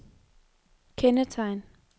kendetegn